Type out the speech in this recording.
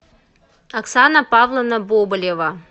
оксана павловна бобылева